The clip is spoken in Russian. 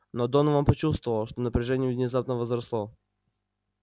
но донован почувствовал что напряжение внезапно возросло